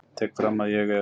Tek fram að ég er